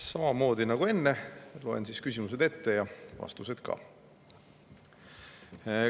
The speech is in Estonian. Samamoodi nagu enne loen küsimused ette ja siis vastused ka.